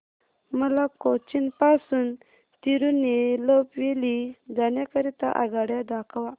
मला कोचीन पासून तिरूनेलवेली जाण्या करीता आगगाड्या दाखवा